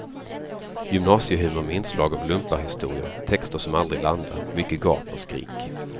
Gymnasiehumor med inslag av lumparhistorier, texter som aldrig landar, mycket gap och skrik.